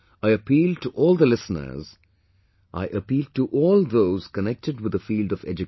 I appeal to all the listeners; I appeal to all those connected with the field of education